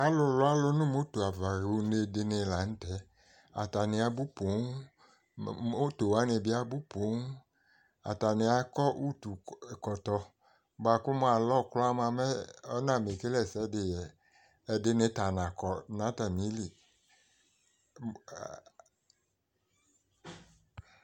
Alʋ lʋalʋ nʋ moto ava yɔɣa une dɩnɩ la n'tɛ Atanɩ abʋ pooom, moto wanɩ bɩ abʋ pooom, atanɩ akɔ utukɔtɔ bʋa k'alɔ kraa mʋa m'ɔnamakele ɛsɛdɩ yɛ Ɛdɩnɩ ta nakɔ n'atamili